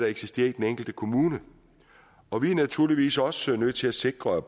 eksisterer i den enkelte kommune og vi er naturligvis også nødt til at sikre at